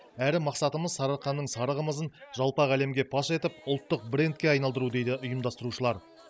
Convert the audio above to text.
әрі мақсатымыз сарыарқаның сары қымызын жалпақ әлемге паш етіп ұлттық брендке айналдыру дейді ұйымдастырушылар